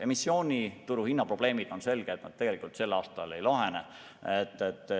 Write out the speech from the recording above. Emissioonituru hinnaprobleemide puhul on selge, et need tegelikult sel aastal ei lahene.